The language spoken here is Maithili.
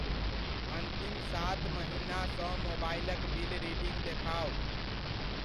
अन्तिम सात महिना सँ मोबाइलक बिल रीडिंग देखाउ।